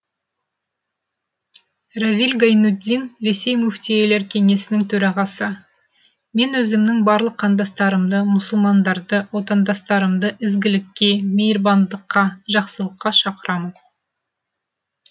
равиль гайнутдин ресей мүфтилер кеңесінің төрағасы мен өзімнің барлық қандастарымды мұсылмандарды отандастарымды ізгілікке мейірбандыққа жақсылыққа шақырамын